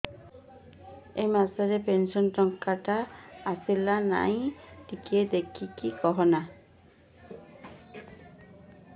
ଏ ମାସ ରେ ପେନସନ ଟଙ୍କା ଟା ଆସଲା ନା ନାଇଁ ଟିକେ ଦେଖିକି କହନା